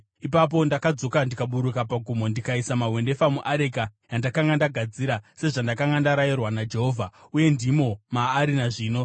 Ipapo ndakadzoka ndikaburuka pagomo ndikaisa mahwendefa muareka yandakanga ndagadzira, sezvandakanga ndarayirwa naJehovha, uye ndimo maari nazvino.